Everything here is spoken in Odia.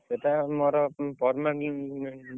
ସେଟା ଆମର